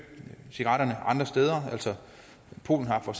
cigaretterne andre steder polen har for